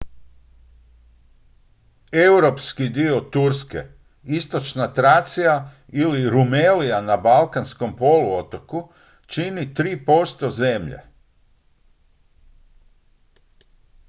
europski dio turske istočna tracija ili rumelija na balkanskom poluotoku čini 3 % zemlje